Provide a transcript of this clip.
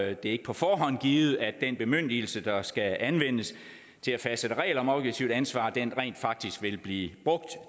er ikke på forhånd givet at den bemyndigelse der skal anvendes til at fastsætte regler om objektivt ansvar rent faktisk vil blive brugt